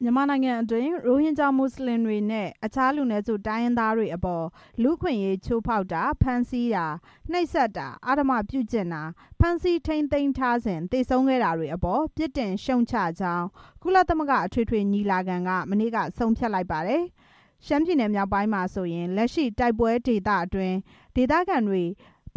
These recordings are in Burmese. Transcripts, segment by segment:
မြန်မာနိုင်ငံအတွင်း ရိုဟင်ဂျာ မွတ်စလင်တွေနဲ့ အခြား လူနည်းစုတိုင်းရင်းသားတွေအပေါ် လူ့အခွင့်အရေးချိုးဖောက်တာ၊ ဖမ်းဆီးတာ၊ နှိပ်စက်တာ၊ အဓမ္မပြုကျင့်တာ၊ ဖမ်းဆီးထိန်းသိမ်းထားစဉ် သေဆုံးခဲ့တာတွေအပေါ် ပြစ်တင်ရှုတ်ချကြောင်း ကုလသမဂ္ဂအထွေထွေညီလာခံက မနေ့က ဆုံးဖြတ်လိုက်ပါတယ်။ ရှမ်းပြည်နယ်မြောက်ပိုင်းမှာဆိုရင် လက်ရှိ တိုက်ပွဲဒေသတွေအတွင်း ဒေသခံတွေ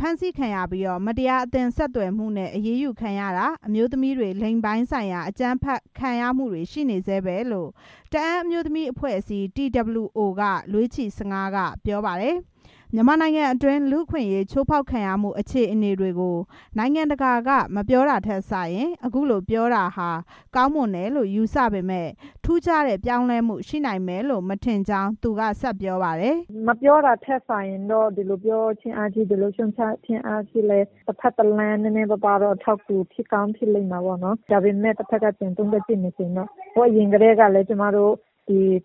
မတရား ဖမ်းဆီးခံရပြီး မတရားအသင်းဆက်သွယ်မှုနဲ့ အရေးယူခံရတာ၊ အမျိုးသမီးတွေ လိင်ပိုင်းဆိုင်ရာ အကြမ်းဖက်ခံရမှုတွေ ရှိနေဆဲပဲလို့ တအာင်းအမျိုးသမီးအဖွဲ့အစည်း TWO က လွေးချီဆငါး ကပြောပါတယ်။ မြန်မာနိုင်ငံအတွင်း လူ့အခွင့်အရေး ချိုးဖောက်ခံရမှုအခြေအနေတွေကို နိုင်ငံတကာက မပြောတာထက်စာရင် အခုလိုပြောတာဟာ ကောင်းမွန်တယ်လို့ ယူဆပေမယ့် ထူးခြားတဲ့ ပြောင်းလဲမှု ရှိနိုင်မယ်လို့ မထင်ဘူးလို့ သူက ဆက်ပြောပါတယ်။ မပြောတာထက်စာရင်တော့ ဒီလိုပြောခြင်းအားဖြင့် ဒီလိုရှုတ်ချခြင်းအားဖြင့် တစ်ဘက်တစ်လမ်း နည်းနည်းပါးပါး အထောက်အကူ ဖြစ်ကောင်းဖြစ်လိမ့်မှာပေါ့နော်။ ဒါပေမဲ့ စ်ဘက်က ပြန်သုံးသပ်ကြည့်မယ်ဆိုရင် ဟိုးအရင်ကတည်းကလည်း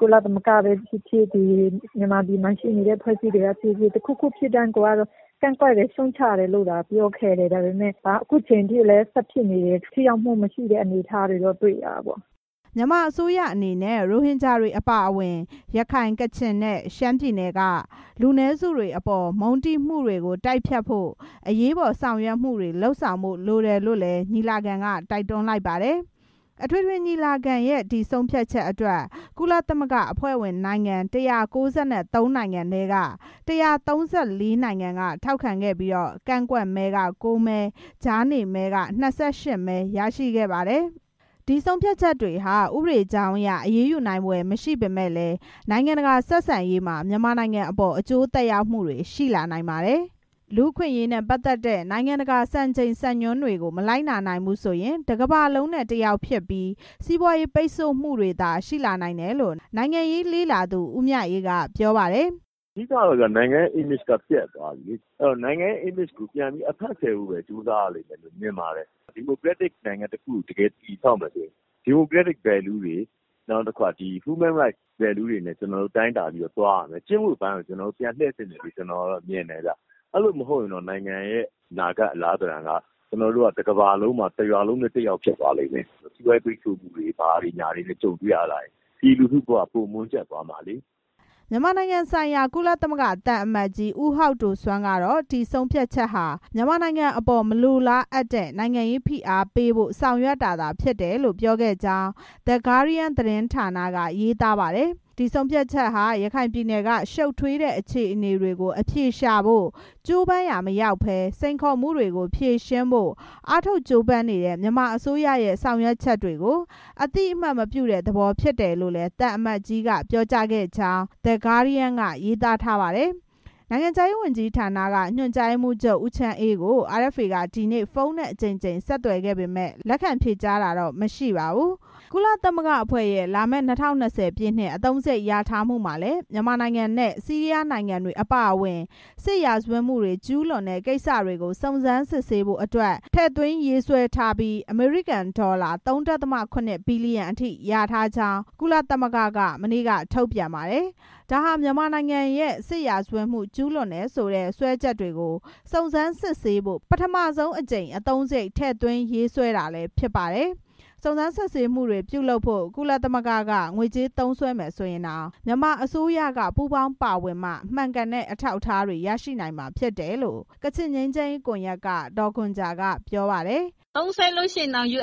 ကုလသမဂ္ဂပဲဖြစ်ဖြစ် မြန်မာပြည်မှာရှိနေတဲ့ အဖွဲ့အစည်းတွေက ဖြစ်ဖြစ် တစ်ခုခုဖြစ်တိုင်း ကန့်ကွက်တယ် ရှုတ်ချတယ်လို့သာ ပြောခဲ့တယ်ဒါပေမဲ့ အခုအချိန်ထိလည်း ဆက်ဖြစ်နေတယ်။ ထိရောက်မှုမရှိတဲ့ အနေအထားတွေလည်း တွေ့ရတယ်။” မြန်မာအစိုးရအနေနဲ့ ရိုဟင်ဂျာတွေအပါအဝင် ရခိုင်၊ ကချင် နဲ့ ရှမ်းပြည်နယ်က လူနည်းစုတွေအပေါ် မုန်းတီးမှုတွေကို တိုက်ဖျက်ဖို့ အရေးပေါ်ဆောင်ရွက်မှုတွေ လုပ်ဆောင်ဖို့လိုတယ်လို့လည်း ညီလာခံ က တိုက်တွန်းလိုက်ပါတယ်။ အထွေထွေညီလာခံရဲ့ ဒီဆုံးဖြတ်ချက်အတွက် ကုလသမဂ္ဂ အဖွဲ့ဝင်နိုင်ငံ ၁၉၃ နိုင်ငံထဲက ၁၃၄ နိုင်ငံက ထောက်ခံခဲ့ပြီး ကန့်ကွက်မဲ ၉ မဲ၊ ကြားနေမဲ ၂၈ မဲ ရခဲ့ပါတယ်။ အဲဒီဆုံးဖြတ်ချက်တွေဟာ ဥပဒေအကြောင်းအရ အရေးယူနိုင်ဖွယ်မရှိပေမယ့်လည်း နိုင်ငံတကာ ဆက်ဆံရေးမှာ မြန်မာနိုင်ငံအပေါ် အကျိုးသက်ရောက်မှုတွေ ရှိလာနိုင်ပါတယ်။ လူ့အခွင့်အရေးနဲ့ ပတ်သက်တဲ့ နိုင်ငံတကာ စံချိန်စံညွန်းတွေကို မလိုက်နာနိုင်ဘူးဆိုရင် တစ်ကမ္ဘာလုံးနဲ့ တစ်ယောက်ဖြစ်ပြီး စီးပွားရေးပိတ်ဆို့မှုတွေသာ ရှိလာနိုင်တယ်လို့ နိုင်ငံရေးလေ့လာသူ ဦးမြအေး ကပြောပါတယ်။ အဓိကကတော့ နိုင်ငံရဲ့ image က ပျက်သွားပြီ။ နိုင်ငံရဲ့ image ကို ပြန်အဖက်ဆယ်ဖို့ပဲ ကြိုးစားရမယ်။ ဒီမိုကရက်တစ်နိုင်ငံတစ်ခုကို တည်ဆောက်မယ်ဆိုရင် ဒီမိုကရက်တစ်တန်ဖိုးတွေ လူ့အခွင့်အရေး တန်ဖိုးတွေနဲ့ ကျနော်တို့ သွားရမယ်။ ကျင့်ဝတ်ပိုင်းကို ပြန်တည့်သင့်တယ်လို့မြင်တယ်။ အဲ့လိုမှာမဟုတ်ရင် နိုင်ငံရဲ့ အလားအလာက တစ်ကမ္ဘာလုံးမှာ တစ်ရွာလုံးနဲ့ တစ်ယောက်ဖြစ်သွားမယ်။ စီးပွားရေးပိတ်ဆို့မှုတွေနဲ့ ကြုံတွေ့ရရင် ပြည်သူလူထု ဘဝက ပိုမွန်းကြပ်သွားမှာလေ။” မြန်မာနိုင်ငံဆိုင်ရာ ကုလသမဂ္ဂသံအမတ်ကြီး ဟောက်ဒိုစွမ်းကတော့ ဒီဆုံးဖြတ်ချက်ဟာ မြန်မာနိုင်ငံအပေါ် မလိုလားအပ်တဲ့ နိုင်ငံရေးဖိအားပေးဖို့ ဆောင်ရွက်တာသာဖြစ်တယ်လို့ ပြောခဲ့ကြောင်း The Guardian သတင်းဌာန က ရေးသားပါတယ်။ ဒီဆုံးဖြတ်ချက်ဟာ ရခိုင်ပြည်နယ်က ရှုပ်ထွေးတဲ့ အခြေအနေတွေကို အဖြေရှာဖို့ ကြိုးပမ်းရာမရောက်ဘဲ စိန်ခေါ်မှုတွေကို ဖြေရှင်းဖို့ အားထုတ်ကြိုးပမ်းနေတဲ့ မြန်မာအစိုးရရဲ့ ဆောင်ရွက်ချက်တွေကို အသိအမှတ်မပြုတဲ့ သဘောဖြစ်တယ်လို့လည်း သံအမတ်ကြီးက ပြောကြားခဲ့တယ်လို့ The Guardian က ရေးသားထားပါတယ်။ နိုင်ငံခြားရေးဝန်ကြီးဌာနက ညွန်ကြားရေးမှူးချုပ် ဦးချမ်းအေးကို RFA က ဒီနေ့ ဖုန်းနဲ့ အကြိမ်ကြိမ် ဆက်သွယ်ခဲ့ပေမယ့် လက်ခံဖြေကြားတာမရှိပါဘူး။ ကုလသမဂ္ဂအဖွဲ့ရဲ့ လာမယ့် ၂၀၂၀ ပြည့်နှစ် အသုံးစာရိတ် လျာထားမှုမှာလည်း မြန်မာနိုင်ငံနဲ့ ဆီးရီးယားနိုင်ငံတွေအပါအဝင် စစ်ရာဇဝတ်မှုကျူးလွန်တဲ့ ကိစ္စတွေကို စုံစမ်းစစ်ဆေးဖို့အတွက်ပါ ထည့်သွင်းရေးဆွဲထားပြီး အမေရိကန်ဒေါ်လာ ၃.၇ ဘီလီယံအထိ လျာထားကြောင်း ကုလသမဂ္ဂက မနေ့က ထုတ်ပြန်ပါတယ်။ ဒါဟာ မြန်မာနိုင်ငံရဲ့ စစ်ရာဇဝတ်မှု ကျူးလွန်တယ်ဆိုတဲ့ စွဲချက်တွေကို စုံစမ်းစစ်ဆေးဖို့ ပထမဆုံးအကြိမ် အသုံးစားရိတ် ထည့်သွင်းရေးဆွဲထားတာဖြစ်ပါတယ်။ စုံစမ်းစစ်ဆေးမှုတွေပြုလုပ်ဖို့ ကုလသမဂ္ဂက ငွေကြေးသုံးစွဲမယ်ဆိုရင်တောင် မြန်မာအစိုးရက ပူးပေါင်းပါဝင်မှ မှန်ကန်တဲ့ အထောက်အထားတွေ ရရှိနိုင်မှာ ဖြစ်တယ်လို့ ကချင်ငြိမ်းချမ်းရေး ကွန်ယက်က ဒေါ်ခွန်ဂျာက ပြောပါတယ်။ သုံးစွဲလို့ရှိရင်တောင် မြ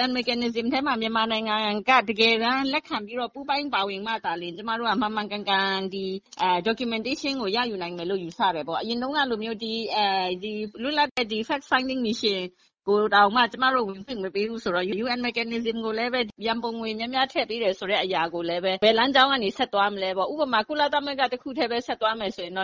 န်မာနိုင်ငံက လက်ခံပြီး ပူးပေါင်းပါဝင်မှသာလျှင် ကျမတို့က မှန်မှန်ကန်ကန်နဲ့ အထောက်အထားတွေ ရယူနိုင်လိမ့်မယ်လို့ ယူဆတယ်။ လွတ်လပ်တဲ့အချက်အလက်ရှာဖွေရေး မစ်ရှင်ကိုတောင် ဝင်ခွင့်မပေးဘူးဆိုတော့ ရံပုံငွေ များများထည့်ပေးတယ်ဆိုပေမယ့် ဘယ်လမ်းကြောင်း ကဆက်သွားမလဲ။ ဥပမာ ကုလသမဂ္ဂတစ်ခုတည်း ဆက်သွားမယ်ဆိုရင် န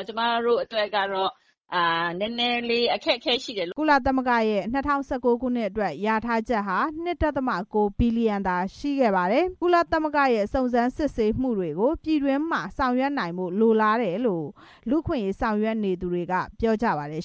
ည်းနည်းအခက်အခဲရှိတယ်။” ကုလသမဂ္ဂရဲ့ ၂၀၁၉ ခုနှစ်အတွက် လျာထားချက်ဟာ ၂.၉ ဘီလီယံသာရှိခဲ့ပါတယ်။ ကုလသမဂ္ဂရဲ့ စုံစမ်းစစ်ဆေးမှုတွေကို ပြည်တွင်းမှာ ဆောင်ရွက်နိုင်ဖို့ လိုလားတယ်လို့ လူ့အခွင့်အရေး ဆောင်ရွက်နေသူတွေက ပြောကြပါတယ်